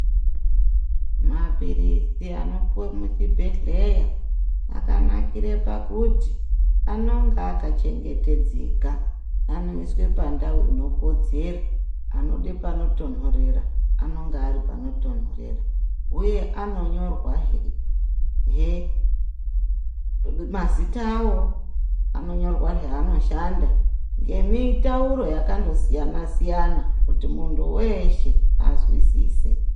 Mapirisi anopuwe muchibhedlera akanakira pakuti anonga akachengetedzeka ,anoiswe pandau inokodzera anode panotonhorera anenge aripanotonhorera ,uye anonyorwa hee mazita awo ,anonyorwa zvaanoshanda ngemitauro yakandosiyana siyana kuti muntu weshe azwisise.